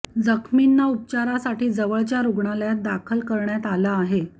जखमींना उपचारासाठी जवळच्या रुग्णालयात दाखल करण्यात आलं आहे